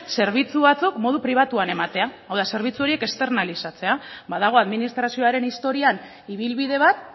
zerbitzu batzuk modu pribatuan eman hau da zerbitzu horiek externalizatzea ba dago administrazioaren historian ibilbide bat